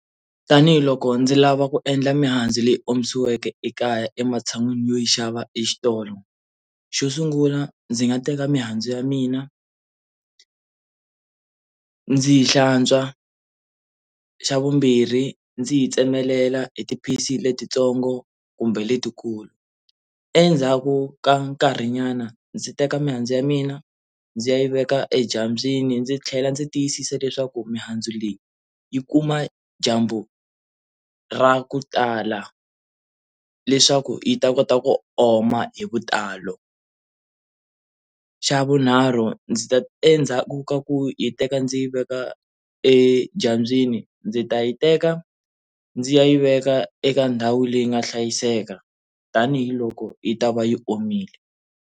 Tanihi loko ndzi lava ku endla mihandzu leyi omisiweke ekaya ematshan'wini yo yi xava exitolo xo sungula ndzi nga teka mihandzu ya mina ndzi yi hlantswa xa vumbirhi ndzi yi tsemelela hi ti piece letitsongo kumbe letikulu endzhaku ka nkarhi nyana ndzi teka mihandzu ya mina ndzi ya yi veka edyambyini ndzi tlhela ndzi tiyisisa leswaku mihandzu leyi yi kuma dyambu ra ku tala leswaku yi ta kota ku oma hi vutalo, xa vunharhu ndzi ta endzhaku ka ku yi teka ndzi yi veka edyambyini ndzi ta yi teka ndzi ya yi veka eka ndhawu leyi nga hlayiseka tanihiloko yi ta va yi omile.